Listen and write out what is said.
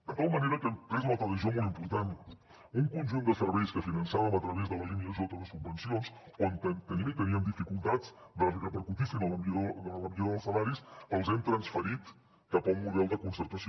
de tal manera que hem pres una altra decisió molt important un conjunt de serveis que finançàvem a través de la línia j de subvencions on tenim i teníem dificultats que repercutissin en la millora dels salaris els hem transferit cap a un model de concertació